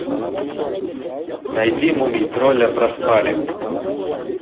найди мумий тролля проспали